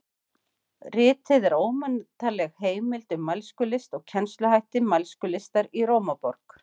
Ritið er ómetanleg heimild um mælskulist og kennsluhætti mælskulistar í Rómaborg.